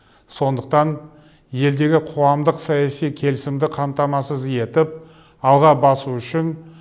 сондықтан елдегі қоғамдық саяси келісімді қамтамасыз етіп алға басу үшін